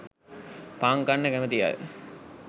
පාන් කන්න කැමති අය